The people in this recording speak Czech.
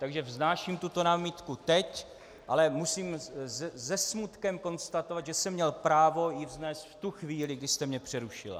Takže vznáším tuto námitku teď, ale musím se smutkem konstatovat, že jsem měl právo ji vznést v tu chvíli, kdy jste mě přerušila.